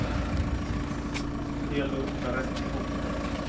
Det gällde att hitta rätt nivå.